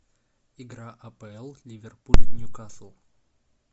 игра апл ливерпуль ньюкасл